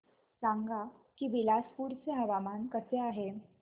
सांगा की बिलासपुर चे हवामान कसे आहे